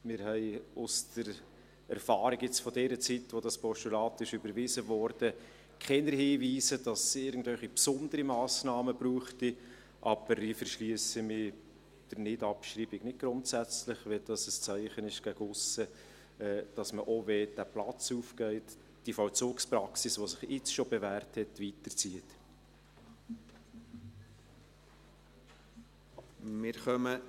Wir haben aus der Erfahrung, aus dieser Zeit, als das Postulat überwiesen wurde, keine Hinweise, dass es irgendwelche besonderen Massnahmen brauchen würde, aber ich verschliesse mich der Abschreibung nicht grundsätzlich, wenn es ein Zeichen gegen aussen ist, dass man diese Vollzugspraxis, die sich jetzt schon bewährt hat, auch weiterzieht, wenn dieser Platz aufgeht.